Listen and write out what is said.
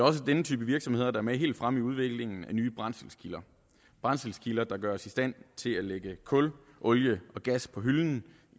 også denne type virksomheder der er med helt fremme i udviklingen af nye brændselskilder brændselskilder der gør os i stand til at lægge kul olie og gas på hylden